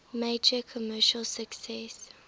major commercial success